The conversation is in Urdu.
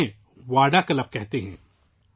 وہ انہیں وادا کلب کہتے ہیں